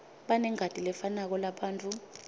banengati lefanako labantfu